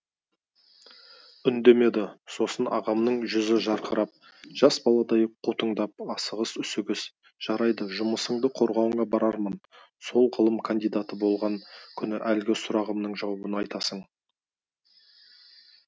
үндемедім сосын ағамның жүзі жарқырап жас баладай қутыңдап асығыс үсігіс жарайды жұмысыңды қорғауыңа барамын сол ғылым кандидаты болған күні әлгі сұрағымның жауабын айтасың